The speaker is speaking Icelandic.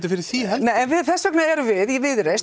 fyrir því heldur en þess vegna erum við í Viðreisn